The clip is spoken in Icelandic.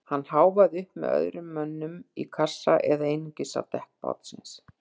Ég háfaði upp með öðrum mönnum í kassa eða einungis á dekk bátsins.